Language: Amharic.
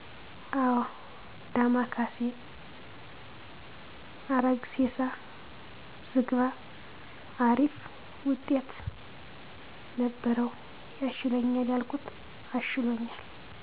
አው ዳማከይሲ አረግሴሳ ዝግባ አሪፍ ውጤትነበሪው ያሽለኛል ያልኩት አሽሎኛል